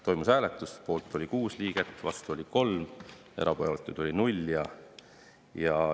Toimus hääletus: poolt oli 6 liiget, vastu oli 3 ja erapooletuid oli 0.